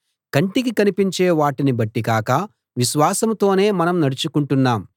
కంటికి కనిపించే వాటిని బట్టి కాక విశ్వాసంతోనే మనం నడచుకుంటున్నాము